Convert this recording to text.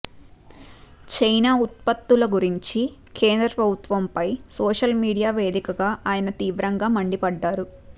China ఉత్పత్తుల గురించి కేంద్రప్రభుత్వంపై సోషల్ మీడియా వేదికగా ఆయన తీవ్రంగా మండిపడ్డారు